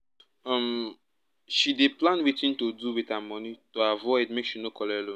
um she dey plan wetin to do with her money to avoid make she no collect loan